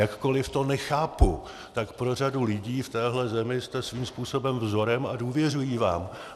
Jakkoliv to nechápu, tak pro řadu lidí v téhle zemi jste svým způsobem vzorem a důvěřují vám.